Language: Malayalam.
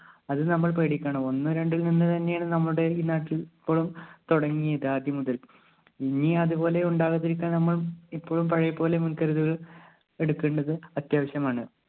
അത് നമ്മൾ പേടിക്കണം ഒന്ന് രണ്ട് തന്നെയാണ് നമ്മളുടെ ഈ നാട്ടിൽ തൊടങ്ങിയത് ആദ്യമുതൽ ഇനി അത് പോലെ ഉണ്ടാകാതിരിക്കാൻ ഞമ്മൾ ഇപ്പോഴും പഴയപോലെ മുൻകരുതലുകൾ എടുക്കണ്ടത് അത്യാവശ്യമാണ്.